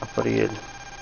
апрель